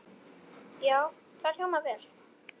Já, það hljómar vel.